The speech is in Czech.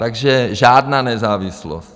Takže žádná nezávislost.